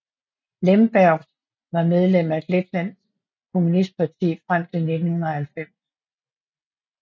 Lembergs var medlem af Letlands Kommunistparti frem til 1990